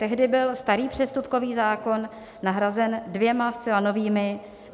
Tehdy byl starý přestupkový zákon nahrazen dvěma zcela novými.